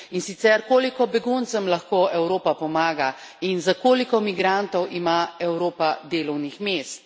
In sicer, koliko beguncem lahko Evropa pomaga, in za koliko migrantov ima Evropa delovnih mest?